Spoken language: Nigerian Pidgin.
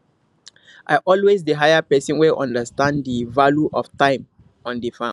i always dey hire person wey understand di value of time on di farm